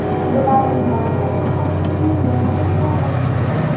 Bularning barchasi taqdirning yana bir zarbasi edi.